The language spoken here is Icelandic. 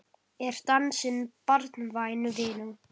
Er dansinn barnvæn vinna?